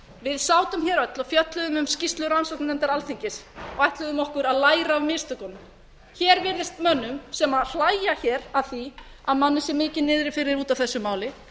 við sátum hér öll og fjölluðum um skýrslu rannsóknarnefndar alþingis og ætluðum okkur að læra af mistökunum hér virðast menn sem hlæja hér að því að manni sé mikið niðri fyrir út af þessu máli